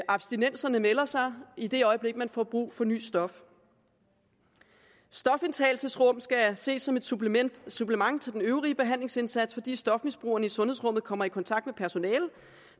abstinenserne melder sig i det øjeblik de får brug for nyt stof stofindtagelsesrum skal ses som et supplement supplement til den øvrige behandlingsindsats fordi stofmisbrugerne i sundhedsrummet kommer i kontakt med personale